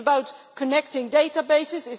Is this about connecting databases?